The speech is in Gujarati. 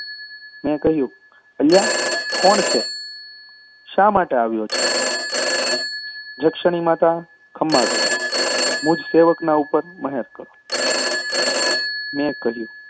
મેં કહ્યું અલ્યા કોણ છે? શા માટે આવ્યો છે? જક્ષણી માતા! ખમા કરો, સેવકના ઉપર મહેર કરો મેં કહ્યું,